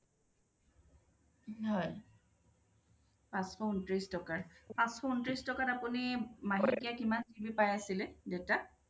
হয় পাছশ উন্ত্ৰিছ, পাছশ উন্ত্ৰিছ টকাত আপুনি মহিলিকে পাই আছিলে data ?